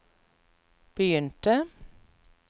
begynte